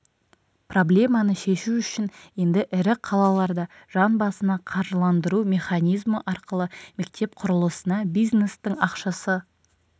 проблеманы шешу үшін енді ірі қалаларда жан басына қаржыландыру механизмі арқылы мектеп құрылысына бизнестің ақшасы